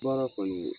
Baara kɔni